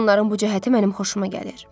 Və onların bu cəhəti mənim xoşuma gəlir.